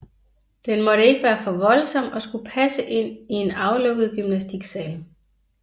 Den måtte ikke være for voldsom og skulle passe ind i en aflukket gymnastiksal